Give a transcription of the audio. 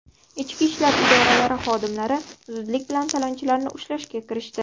Ichki ishlar idoralari xodimlari zudlik bilan talonchilarni ushlashga kirishdi.